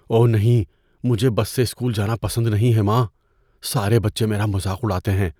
اوہ نہیں! مجھے بس سے اسکول جانا پسند نہیں ہے، ماں۔ سارے بچے میرا مذاق اڑاتے ہیں۔